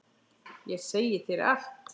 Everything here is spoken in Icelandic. Ég segi þér allt.